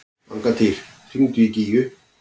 Angantýr, hringdu í Gígju.